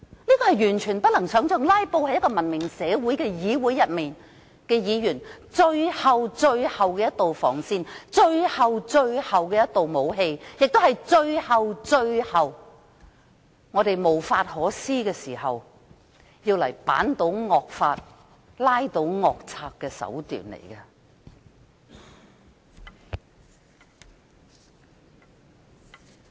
這是完全不能想象的，"拉布"是文明社會的議員的最後防線和最後的武器，也是我們最終無法可施時，用作推倒惡法、拉倒惡賊的手段。